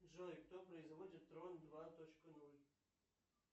джой кто производит дрон два точка ноль